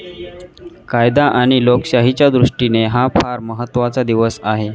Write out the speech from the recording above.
कायदा आणि लोकशाहीच्या दृष्टीने हा फार महत्वाचा दिवस आहे.